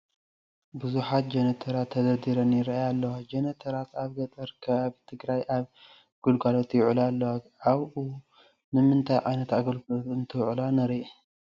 ብዙሓት ጀነረተራት ተደርዲረን ይርአያ ኣለዋ፡፡ ጀነረተራት ኣብ ገጠራት ከባቢ ትግራይ ኣብ ግልጋሎት ይውዕላ ኣለዋ፡፡ ኣብኡ ንምንታይ ዓይነት ግልጋሎት እንትውዕላ ንርኢ?